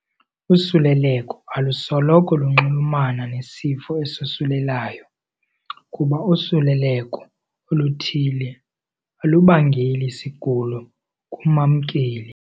Usuleleko alusoloko lunxulumana nesifo esosulelayo, kuba usuleleko oluthile alubangeli sigulo kumamkeli.